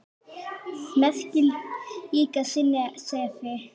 Merkir líka sinni sefi.